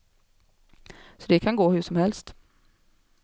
Så det kan gå hur som helst.